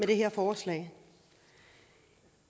det her forslag